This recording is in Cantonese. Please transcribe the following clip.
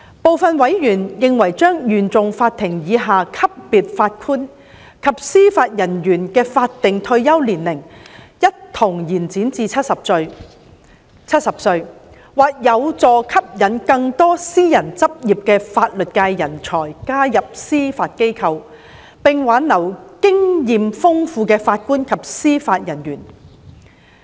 部分委員認為將原訟法庭以下級別法官及司法人員的法定退休年齡一同延展至70歲，或有助吸引更多私人執業的法律界人才加入司法機構，並挽留經驗豐富的法官及司法人員。